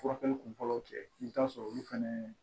Furakɛli kunfɔlɔw kɛ i bɛ taa sɔrɔ olu fɛnɛ